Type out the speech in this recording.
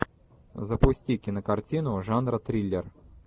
запусти кинокартину жанра триллер